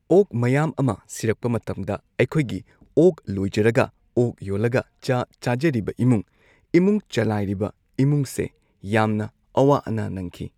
ꯑꯣꯛ ꯃꯌꯥꯝ ꯑꯃ ꯁꯤꯔꯛꯄ ꯃꯇꯝꯗ ꯑꯩꯈꯣꯏꯒꯤ ꯑꯣꯛ ꯂꯣꯏꯖꯔꯒ ꯑꯣꯛ ꯌꯣꯜꯂꯒ ꯆꯥ ꯆꯥꯖꯔꯤꯕ ꯏꯃꯨꯡ ꯏꯃꯨꯡ ꯆꯂꯥꯏꯔꯤꯕ ꯏꯃꯨꯡꯁꯦ ꯌꯥꯝꯅ ꯑꯋꯥ ꯑꯅꯥ ꯅꯪꯈꯤ꯫